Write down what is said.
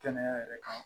Kɛnɛya yɛrɛ kan